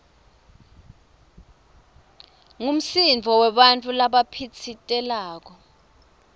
ngumsindvo webantfu labaphitsitelako